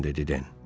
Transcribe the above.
dedi Den.